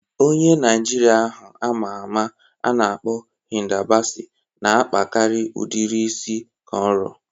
Onye Naịjirịa ahụ ama ama a na-akpọ Hida Basi na-akpakarị udiri isi kọnro